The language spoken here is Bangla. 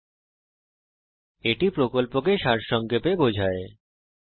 এটি কথ্য টিউটোরিয়াল প্রকল্পকে সারসংক্ষেপে বোঝায়